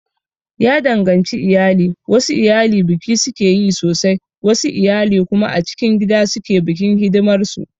Ya danganci iyali, wasu iyali biki sukeyi sosai wasu iyali kuma a cikin gida suke bikin hidimar su